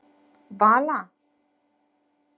Vala